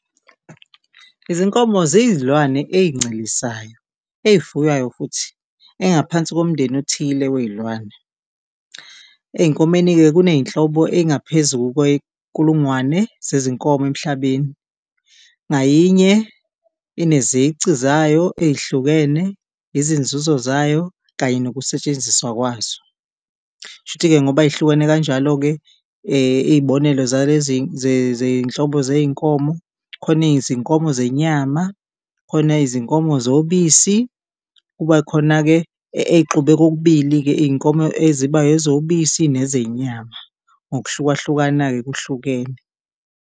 Izinkomo ziyizilwane eyincelisayo eyifuywayo futhi ezingaphansi komndeni othile weyilwane. Ezinkomeni-ke kuneyinhlobo eyingaphezu kwe nkulungwane zezinkomo emhlabeni, ngayinye inezici zayo eyihlukene, izinzuzo zayo kanye nokusetshenziswa kwazo. Kushuthi-ke ngoba zihlukene kanjalo-ke iyibonelo zalezi zeyinhlobo zeyinkomo, khona izinkomo zenyama, khona izinkomo zobisi kuba khona-ke eyixubeke okubili-ke iyinkomo eziba ezobisi neze nyama ngokuhlukahlukana-ke kuhlukene.